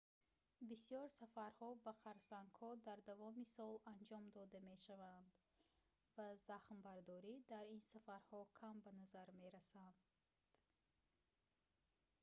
бисёр сафарҳо ба харсангҳо дар давоми сол анҷом дода мешаванд ва захмбардорӣ дар ин сафарҳо кам ба назар мерасанд